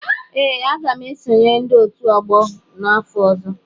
Ee, aga m esonyere ndị otu ọgbọ n'afọ ọzọ.